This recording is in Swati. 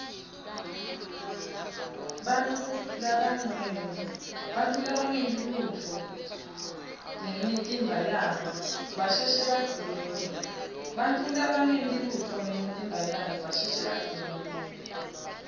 bantfu labangenti lutfo ngemitimba yabo basheshe badzinwe